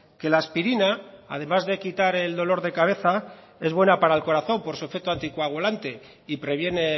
que la aspirina además de quitar el dolor de cabeza es buena para el corazón por su efecto anticoagulante y previene